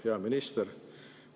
Hea minister!